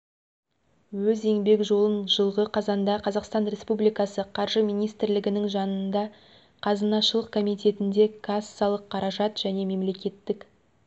өз еңбек жолын жылғы қазанда қазақстан республикасы қаржы министрлігінің жанындағы қазынашылық комитетінде кассалық қаражат және мемлекеттік